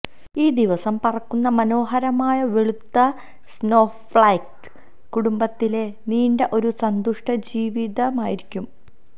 ഈ ദിവസം പറക്കുന്ന മനോഹരമായ വെളുത്ത സ്നോഫ്ലൈക്സ് കുടുംബത്തിലെ നീണ്ട ഒരു സന്തുഷ്ടജീവിതമായിരിക്കും